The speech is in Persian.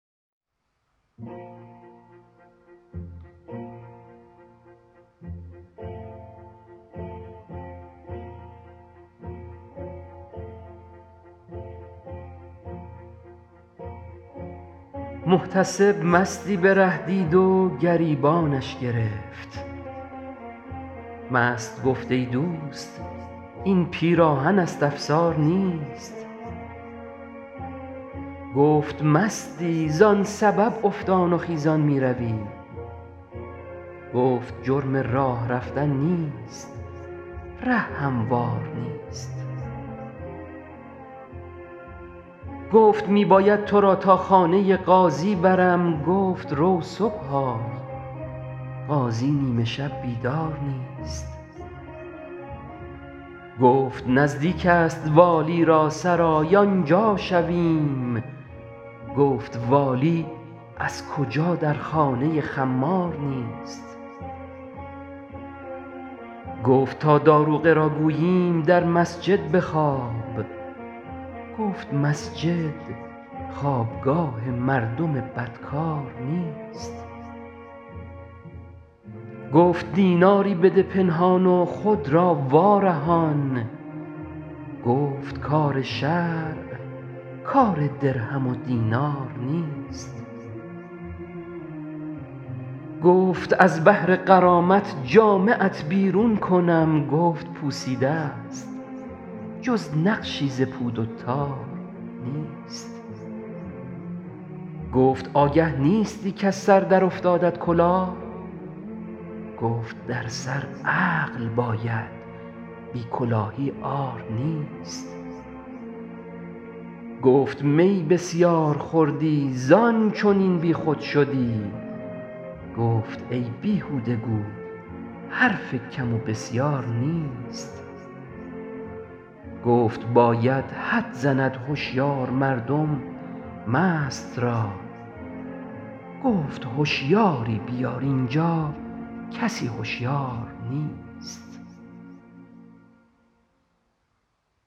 محتسب مستی به ره دید و گریبانش گرفت مست گفت ای دوست این پیراهن است افسار نیست گفت مستی زان سبب افتان و خیزان میروی گفت جرم راه رفتن نیست ره هموار نیست گفت می باید تو را تا خانه قاضی برم گفت رو صبح آی قاضی نیمه شب بیدار نیست گفت نزدیک است والی را سرای آنجا شویم گفت والی از کجا در خانه خمار نیست گفت تا داروغه را گوییم در مسجد بخواب گفت مسجد خوابگاه مردم بدکار نیست گفت دیناری بده پنهان و خود را وارهان گفت کار شرع کار درهم و دینار نیست گفت از بهر غرامت جامه ات بیرون کنم گفت پوسیده ست جز نقشی ز پود و تار نیست گفت آگه نیستی کز سر در افتادت کلاه گفت در سر عقل باید بی کلاهی عار نیست گفت می بسیار خوردی زان چنین بیخود شدی گفت ای بیهوده گو حرف کم و بسیار نیست گفت باید حد زند هشیار مردم مست را گفت هشیاری بیار اینجا کسی هشیار نیست